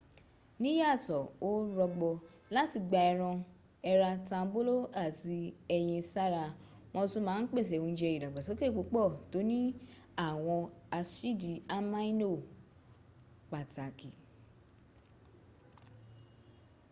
níyàtọ̀ ó rọgbọ láti gba ẹran èrà tambolo ati ẹ̀yin sára wọ́n tún ma n pèsè ounje idagbasoke púpọ̀ tó ní àwọn asidi amino pàtàkì